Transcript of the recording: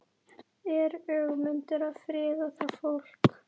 Er Ögmundur að friða það fólk?